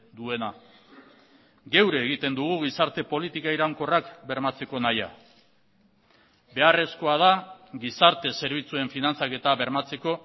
duena geure egiten dugu gizarte politika iraunkorrak bermatzeko nahia beharrezkoa da gizarte zerbitzuen finantzaketa bermatzeko